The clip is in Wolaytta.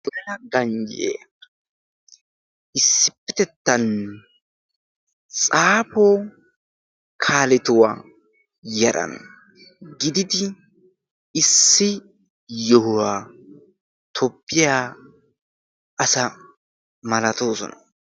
ganjye issippetettanne xaafo kaaletuwaa yaran gididi issi yohuwaa toppiyaa asa malatoosona